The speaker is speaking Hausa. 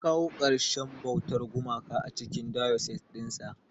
Ya kawo karshen bautar gumaka a cikin diocese dinsa.